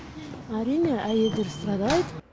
әрине әйелдер страдает